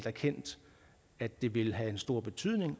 erkendt at det vil have en stor betydning